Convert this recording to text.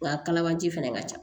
Wa kalabanci fana ka ca